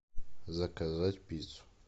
заказать пиццу